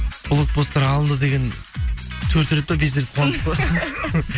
блокпосттар алды деген төрт рет па бес рет па қуандық қой